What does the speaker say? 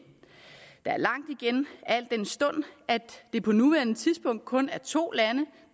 der er langt igen al den stund at det på nuværende tidspunkt kun er to lande